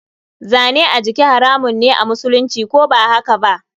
Zane a jiki haramun me amusulunci, ko bahakaba?